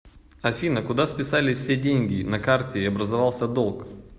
афина куда списались все деньги на карте и образовался долг